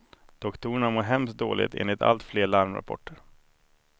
Doktorerna mår hemskt dåligt enligt allt fler larmrapporter.